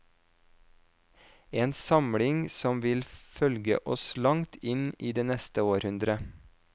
En samling som vil følge oss langt inn i det neste århundre.